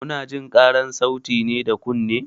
Munajin ƙarar sauti ne da kunne.